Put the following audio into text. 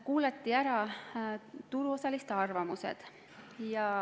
Kuulati ära turuosaliste arvamused.